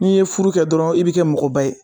N'i ye furu kɛ dɔrɔn i bi kɛ mɔgɔba ye